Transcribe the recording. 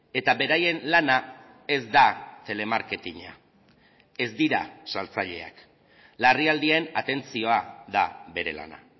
eta beraien lana ez da telemarketina ez dira saltzaileak larrialdien atentzioa da bere lana